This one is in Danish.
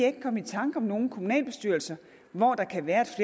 ikke komme i tanker om nogen kommunalbestyrelser hvor der kan være